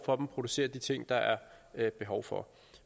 producere de ting der er behov for